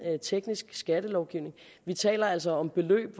teknisk skattelovgivning vi taler altså om beløb